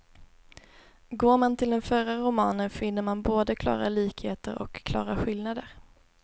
Går man till den förra romanen, finner man både klara likheter och klara skillnader.